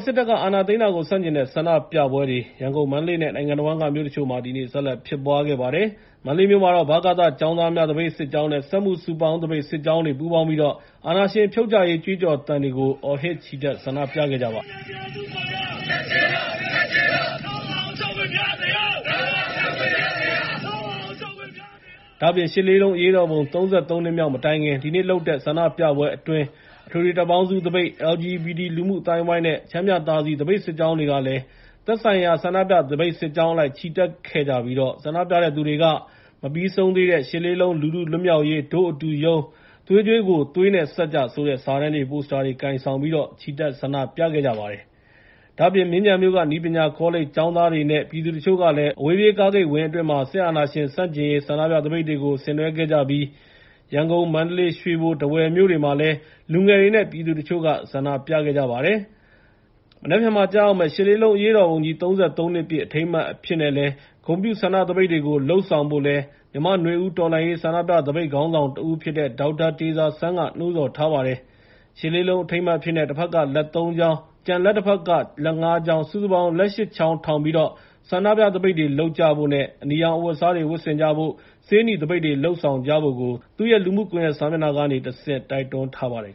စစ်တပ်က အာဏာသိမ်းတာကို ဆန့်ကျင်တဲ့ ဆန္ဒပြပွဲတွေမှာ ရန်ကုန်၊ မန္တလေး နဲ့ နိုင်ငံတဝန်းက မြို့တချို့မှာ ဒီနေ့ ဆက်လက်ဖြစ်ပွားခဲ့ပါတယ်။ မန္တလေးမြို့မှာတော့ ဗကသကျောင်းသားများ သပိတ်စစ်ကြောင်း နဲ့ စက်မှု စုပေါင်း သပိတ်စစ်ကြောင်းတွေ ပူးပေါင်းပြီး စစ်အာဏာရှင်ဖြုတ်ချရေး ကြွေးကြော်သံတွေကို အော်ဟစ်ချီတက် ဆန္ဒပြခဲ့ကြပါတယ်။ ဒါ့အပြင် ၈ လေးလုံး အရေးတော်ပုံကြီး ၃၃ နှစ် မြောက် မတိုင်ခင် ဒီနေ့ ပြုလုပ်တဲ့ ဆန္ဒပြပွဲအတွင်း၊ အထွေထွေတပ်ပေါင်းစုသပိတ်၊ LGBT လူမှုအသိုင်းအဝိုင်းနဲ့ ချမ်းမြသာစည် သပိတ်စစ်ကြောင်းတွေလည်း သက်ဆိုင်ရာ ဆန္ဒပြသပိတ်စစ်ကြောင်းအလိုက်ချီတက်ခဲ့ကြပြီး၊ ဆန္ဒပြတဲ့သူတွေက “မပြီးဆုံးသေးတဲ့ ရှစ်လေးလုံး လူထုလွတ်မြောက်ရေး ဒို့အတူရုန်း၊ သွေးကြွေးကို သွေးနဲ့ဆပ်ကြ” ဆိုတဲ့ စာတမ်းတွေ ပိုစတာတွေကို ကိုင်ဆောင်ပြီးတော့ ချီတက်ဆန္ဒပြခဲ့ကြတာပါ။ ဒါ့အပြင် မြင်းခြံမြို့ကနည်းပညာကောလိပ်ကျောင်းသားတွေ နဲ့ ပြည်သူတချို့ကလည်း အဝေးပြေးကာဂိတ်ဝင်းအတွင်းမှာ စစ်အာဏာရှင် ဆန့်ကျင်ရေး ဆန္ဒပြသပိတ်တွေကို ဆင်နွဲခဲ့ကြပြီး၊ ရန်ကုန်၊ ကလေး၊ ရွှေဘို နဲ့ ထားဝယ်၊မြို့တွေမှာလည်း လူငယ်တွေ နဲ့ ပြည်သူတချို့ ဆန္ဒပြခဲ့ကြပါတယ်။ မနက်ဖြန်မှာ ကျရောက်မယ့် ၈ လေးလုံး အရေးတော်ပုံကြီး ၃၃ နှစ် ပြည့် အထိမ်းအမှတ်အဖြစ်နဲ့ ဂုဏ်ပြုဆန္ဒပြသပိတ်တွေလုပ်ဖို့ကိုလည်း မြန်မာ့နွေဦးတော်လှန်ရေး ဆန္ဒပြသပိတ်ခေါင်းဆောင်တဦးဖြစ်တဲ့ ဒေါက်တာတေဇာစန်းက နှိုးဆော်ထားပါတယ်။ ၈၈၈၈ အထိမ်းအမှတ်အဖြစ်နဲ့ တဘက်က လက် ၃ ချောင်း၊ ကျန်လက်တဘက်က လက် ၅ ချောင်း ၊ စုစုပေါင်း လက် ၈ ချောင်းထောင်းပြီး ဆန္ဒပြသပိတ်တွေလုပ်ကြဖို့ နဲ့ အနီရောင်အဝတ်အစားတွေဝတ်ဆင်ကြဖို့ နဲ့ ဆေးနီသပိတ်တွေလုပ်ဆောင်ဖို့ သူရဲ့လူမှုကွန်ရက်စာမျက်နှာ ကနေ တိုက်တွန်းထားပါတယ်